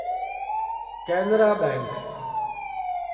Canara bank